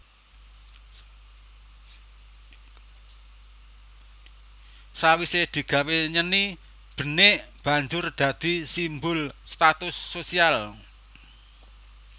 Sawise digawé nyeni benik banjur dadi simbol status sosial